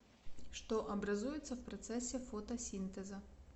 что образуется в процессе фотосинтеза